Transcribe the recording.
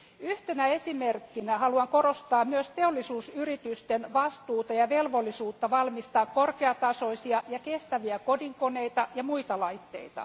Yhtenä esimerkkinä haluan korostaa myös teollisuusyritysten vastuuta ja velvollisuutta valmistaa korkeatasoisia ja kestäviä kodinkoneita ja muita laitteita.